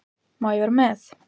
Má ég vera með?